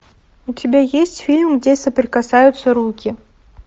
у тебя есть фильм где соприкасаются руки